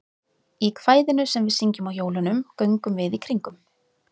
Í kvæðinu sem við syngjum á jólunum, Göngum við í kringum.